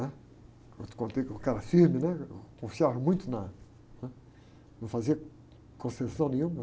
né? Eu contei como que era firme, né? Eu confiava muito na, né? Não fazia concessão nenhuma.